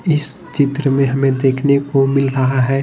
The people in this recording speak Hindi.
इस चित्र में हमें देखने को मिल रहा है।